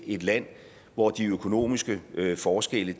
et land hvor de økonomiske forskelle